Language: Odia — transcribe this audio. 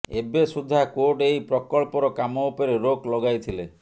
ଏବେସୁଦ୍ଧା କୋର୍ଟ ଏହି ପ୍ରକଳ୍ପର କାମ ଉପରେ ରୋକ ଲଗାଇଥିଲେ